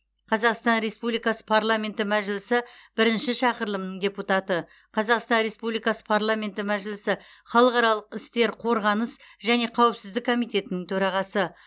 қазақстан республикасы парламенті мәжілісі бірінші шақырылымының депутаты қазақстан республикасы парламенті мәжілісі халықаралық істер қорғаныс және қауіпсіздік комитетінің төрағасы